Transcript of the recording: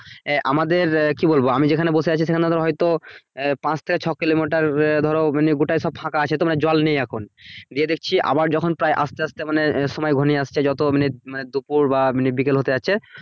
আহ আমাদের আহ কি বলবো আমি যেখানে বসে আছি সেখানে তো হয়তো আহ পাঁচ থেক ছ কিলোমিটার আহ ধরো মানে গোটা সব ফাঁকা আছে জল নেই এখন গিয়ে দেখছি আবার যখন প্রায় আস্তে আস্তে মানে সময় ঘনিয়ে আসছে যত মিনিট মানে দুপুর বা মানে বিকেল হতে যাচ্ছে